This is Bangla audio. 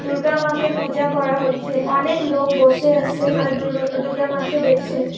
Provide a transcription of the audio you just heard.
দূর্গা মাকে পূজা করা হচ্ছে। অনেক লোক বসে আসে আর দূর্গা দূর্গা মাকে দেখছে ।